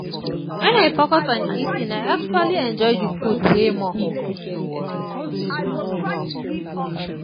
when i focus on eating i actually enjoy the food way more.